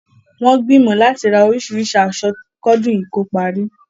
Wọn gbìmọ̀ láti rá oríṣìríṣì aṣọ kọdún yìí tó parí